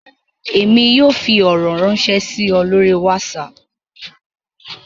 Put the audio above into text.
Èmi yóò fí ọrọ ránṣẹ si ọ lori whatsapp